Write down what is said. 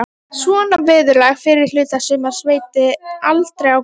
Svona veðurlag fyrri hluta sumars veit aldrei á gott